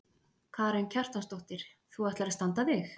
Karen Kjartansdóttir: Þú ætlar að standa þig?